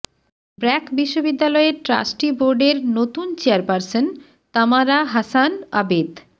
ব্র্যাক বিশ্ববিদ্যালয়ের ট্রাস্টি বোর্ডের নতুন চেয়ারপারসন তামারা হাসান আবেদ